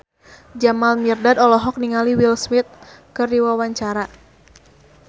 Jamal Mirdad olohok ningali Will Smith keur diwawancara